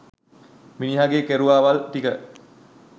මිනිහගේ කෙරුවාවල් ටික